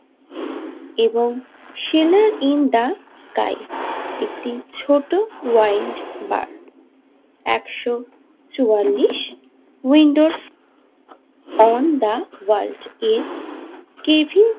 এবং সেনাইন্দাকাই একটি ছোট ওয়াইন বার একশো চুয়াল্লিশ উইন্ডোর অন দা ওয়ালজকে কেভিন।